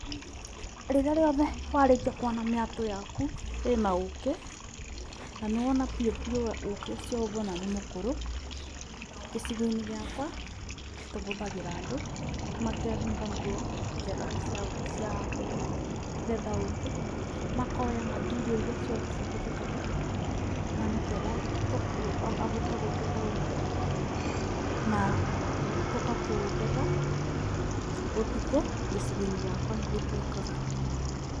Rĩrĩa rĩothe warĩkia kuona mĩatũ yaku ĩna ũkĩ na nĩ wona piũ piũ ũkĩ ũcio ũrĩa ũbũana nĩ mũkũrũ. Gĩcigo-inĩ gĩakwa tũbũthagira andũ makebũmba nguo njega cia kũthi kũgetha ũkĩ makoya material iria ciothe cibũthĩkaga, na nĩ ketha abote kũgetha ũkĩ na tũgakĩũketha ũtukũ gĩcigo-inĩ gĩakwa nĩguo twĩkaga.